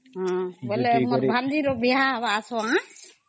ବେଲେ ମୋର ଭାଣିଜୀର ବିହା ହବା ସବୁ ଆସବା ଆଁ